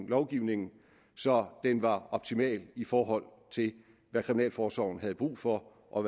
lovgivningen så den var optimal i forhold til hvad kriminalforsorgen havde brug for og